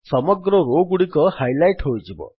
ସମଗ୍ର ରୋ ଗୁଡ଼ିକ ହାଇଲାଇଟ୍ ହୋଇଯିବ